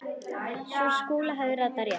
Sú kúla hafði ratað rétt.